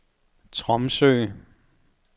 Tromsø